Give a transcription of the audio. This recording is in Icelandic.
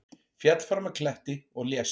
Féll fram af kletti og lést